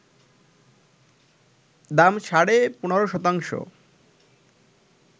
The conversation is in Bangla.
দাম সাড়ে ১৫ শতাংশ